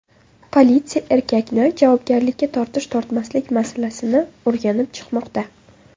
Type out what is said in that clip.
Politsiya erkakni javobgarlikka tortish-tortmaslik masalasini o‘rganib chiqmoqda.